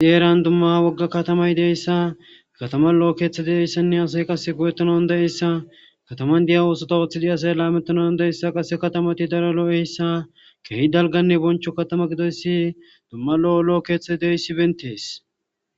Ideeran dumma wogga katamay deyssa katama lo'o keeththe deeyssanne asay qase go'ettonan de7eyssa kataman diya oosota ooththidi asay laamettonan deessa qase katamati dara lo7eyssa keehi dalganne boncho katama gidoyssi dumma lo7o loo keeththet deeyssi bentees